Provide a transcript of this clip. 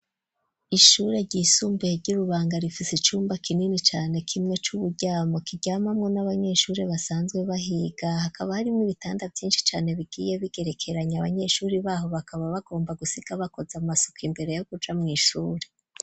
Ishuri ryisumbuye ry'irubanga rifise icumba kinini cane, kimwe c'uburyamo kiryamamwo n' abanyeshure basanzwe bahiga, hakaba harimwo ibitanda vyinshi cane, bigiye bigerekeranye, abanyeshure baho bakaba bagomba gusiga bakoze amasuku imbere yo kuja mw'ishuri .